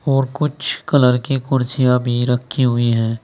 और कुछ कलर की कुर्सियां भी रखी हुई है।